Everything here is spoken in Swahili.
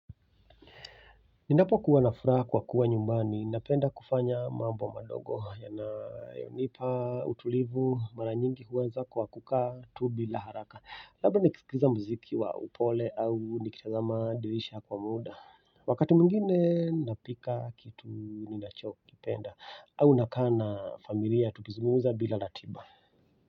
Ninapo kuwa na furaha kwa kuwa nyumbani, napenda kufanya mambo madogo, yanayonipa utulivu mara nyingi huanza kwa kukaa tubi la haraka, labda nikisikiliza muziki wa upole au nikitazama dirisha kwa muda wakati mwingine napika kitu ninachokipenda, au nakaa na familia tukizungumza bila ratiba.